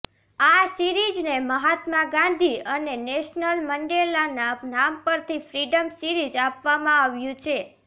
આ સિરીઝને મહાત્મા ગાંધી અને નેલ્સન મંડેલાના નામ પર ફ્રીડમ સિરીઝ આપવામાં આવ્યું છે